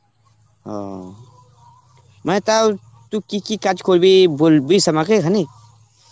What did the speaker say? অ, মানে তাও তু কি কি কাজ করবি বুলবিশ আমাকে হুনি.